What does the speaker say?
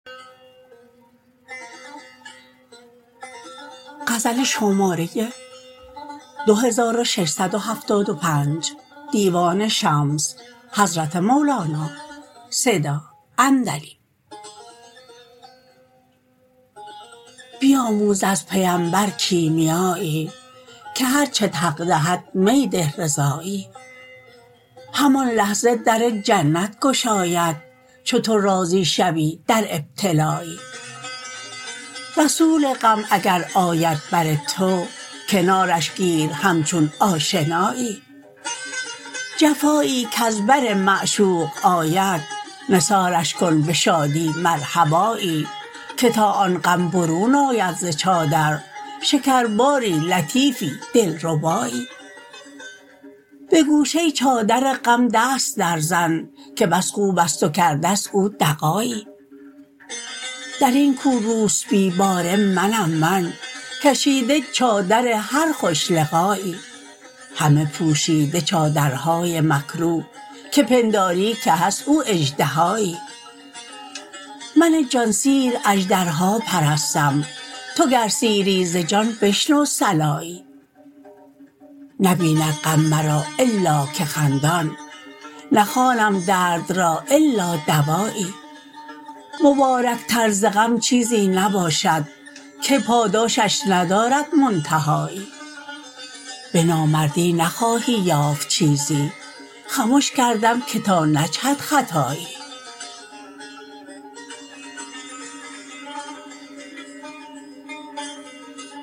بیاموز از پیمبر کیمیایی که هر چت حق دهد می ده رضایی همان لحظه در جنت گشاید چو تو راضی شوی در ابتلایی رسول غم اگر آید بر تو کنارش گیر همچون آشنایی جفایی کز بر معشوق آید نثارش کن به شادی مرحبایی که تا آن غم برون آید ز چادر شکرباری لطیفی دلربایی به گوشه چادر غم دست درزن که بس خوب است و کرده ست او دغایی در این کو روسبی باره منم من کشیده چادر هر خوش لقایی همه پوشیده چادرهای مکروه که پنداری که هست او اژدهایی من جان سیر اژدرها پرستم تو گر سیری ز جان بشنو صلایی نبیند غم مرا الا که خندان نخوانم درد را الا دوایی مبارکتر ز غم چیزی نباشد که پاداشش ندارد منتهایی به نامردی نخواهی یافت چیزی خمش کردم که تا نجهد خطایی